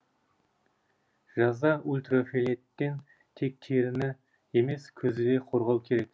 жазда ультрафиолеттен тек теріні емес көзді де қорғау керек